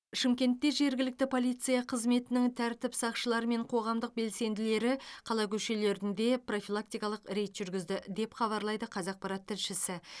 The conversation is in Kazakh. шымкентте жергілікті полиция қызметінің тәртіп сақшылары мен қоғамдық белсенділері қала көшелерінде профилактикалық рейд жүргізді деп хабарлайды қазақпарат тілшісі